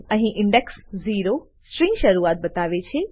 અહી ઇન્ડેક્સ 0 સ્ટ્રીંગની શરુઆત બતાવે છે